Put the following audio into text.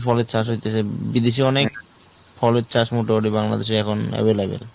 ফলের চাষ হয়তেছে বিদেশে অনেক ফলের চাষ মোটামুটি বাংলাদেশে এখন available